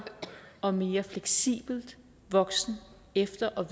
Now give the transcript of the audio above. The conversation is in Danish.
og mere fleksibel voksen efter og